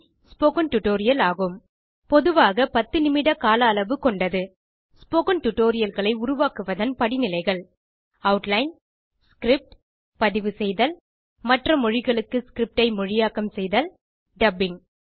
spoken tutorial ஆகும் பொதுவாக 10 நிமிட கால அளவு கொண்டது ஸ்போக்கன் Tutorialகளை உருவாக்குவதன் படிநிலைகள் ஆட்லைன் ஸ்கிரிப்ட் பதிவுசெய்தல் மற்ற மொழிகளுக்கு ஸ்கிரிப்ட் ஐ மொழியாக்கம் செய்தல் டப்பிங்